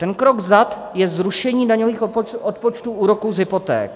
Ten krok vzad je zrušení daňových odpočtů úroku z hypoték.